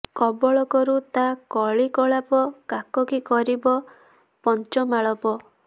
କବଳ କରୁ ତା କଳି କଳାପ କାକ କି କରିବ ପଞ୍ଜମାଳାପ